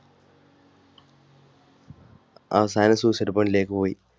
അവസാനം suicide point ലേക്ക് പോയി